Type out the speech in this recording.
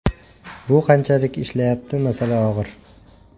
Bu qanchalik ishlayapti masala og‘ir.